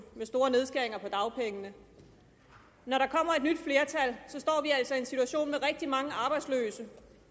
med store nedskæringer i dagpengene når der kommer et nyt flertal står vi altså i en situation med rigtig mange arbejdsløse